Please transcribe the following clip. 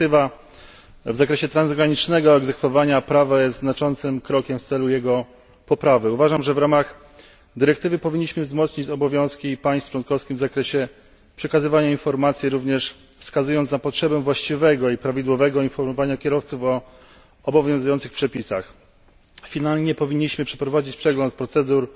Dyrektywa w zakresie transgranicznego egzekwowania prawa jest znaczącym krokiem w celu jego poprawy. Uważam, że w ramach dyrektywy powinniśmy wzmocnić obowiązki państw członkowskich w zakresie przekazywania informacji, wskazując również na potrzebę właściwego i prawidłowego informowania kierowców o obowiązujących przepisach. Powinniśmy wreszcie przeprowadzić przegląd procedur